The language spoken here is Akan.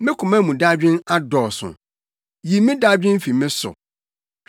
Me koma mu dadwen adɔɔso; yi me dadwen fi me so.